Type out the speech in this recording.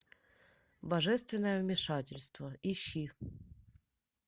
божественное вмешательство ищи